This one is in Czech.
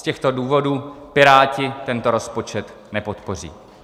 Z těchto důvodů Piráti tento rozpočet nepodpoří.